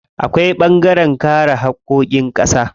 Akwai ɓangaren kare haƙƙoƙin ƙasa.